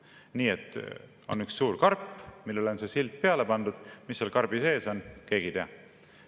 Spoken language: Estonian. Nii et on üks suur karp, millele on silt peale pandud, aga mis seal karbi sees on, keegi ei tea.